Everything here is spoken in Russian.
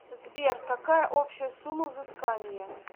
сбер какая общая сумма взыскания